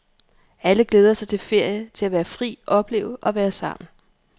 Alle glæder sig til ferie, til at være fri, opleve og være sammen.